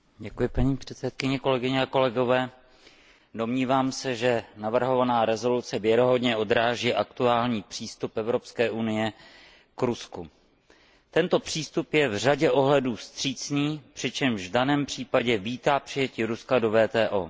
Paní předsedající, domnívám se, že navrhovaná rezoluce věrohodně odráží aktuální přístup Evropské unie k Rusku. Tento přístup je v řadě ohledů vstřícný, přičemž v daném případě vítá přijetí Ruska do WTO.